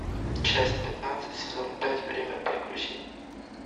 часть пятнадцать сезон пять время приключений